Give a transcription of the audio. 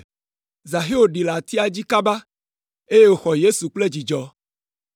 Zaxeo ɖi le atia dzi kaba eye wòxɔ Yesu kple dzidzɔ.